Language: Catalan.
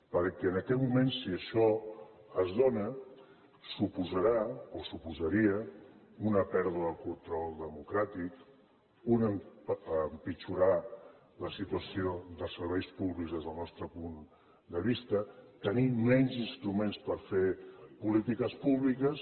perquè en aquest moment si això es dona suposarà o suposaria una pèrdua de control democràtic empitjorar la situació de serveis públics des del nostre punt de vista tenir menys instruments per fer polítiques públiques